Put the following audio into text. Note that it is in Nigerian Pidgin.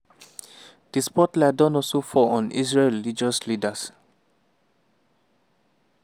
di spotlight don also fall on israel religious leaders.